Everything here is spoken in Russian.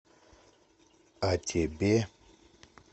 а тебе